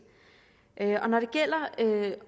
når det gælder